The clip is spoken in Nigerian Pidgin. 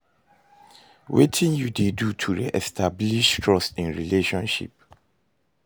Wetin you dey do to re-establish trust in a relationship?